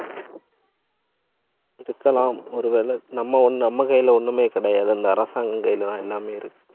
இருக்கலாம். ஒருவேளை, நம்ம ஒண்ணு நம்ம கையில ஒண்ணுமே கிடையாது இல்லை அரசாங்கம் கையிலதான் எல்லாமே இருக்கு.